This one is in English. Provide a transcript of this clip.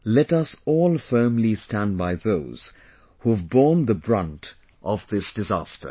Let us all firmly stand by those who have borne the brunt of this disaster